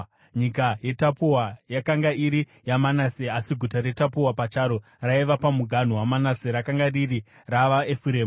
(Nyika yeTapua yakanga iri yaManase asi guta reTapua pacharo raiva pamuganhu waManase, rakanga riri ravaEfuremu.)